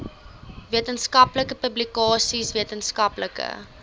wetenskaplike publikasies wetenskaplike